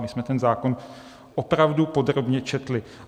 My jsme ten zákon opravdu podrobně četli.